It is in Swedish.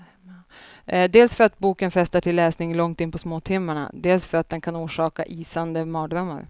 Dels för att boken frestar till läsning långt in på småtimmarna, dels för att den kan orsaka isande mardrömmar.